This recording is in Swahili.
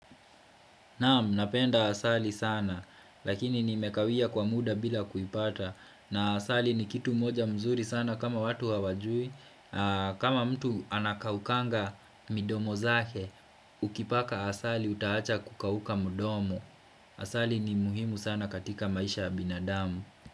Naam napenda asali sana lakini nimekawia kwa muda bila kuipata na asali ni kitu moja mzuri sana kama watu hawajui kama mtu anakaukanga midomo zake ukipaka asali utahacha kukauka mdomo Asali ni muhimu sana katika maisha yabinadamu.